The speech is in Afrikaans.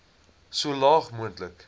so laag moontlik